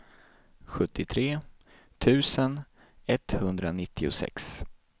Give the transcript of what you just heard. sjuttiotre tusen etthundranittiosex